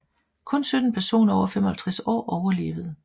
Kun 17 personer over 55 år overlevede